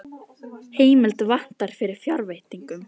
Heimild vantar fyrir fjárveitingum